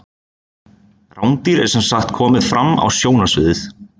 rándýr er sem sagt komið fram á sjónarsviðið